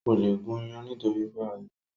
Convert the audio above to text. Kò le gún iyán nítorí pé ọ̀lẹ ni